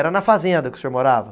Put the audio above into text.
Era na fazenda que o senhor morava?